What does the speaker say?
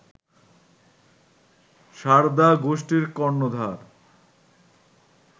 সারদা গোষ্ঠীর কর্ণধার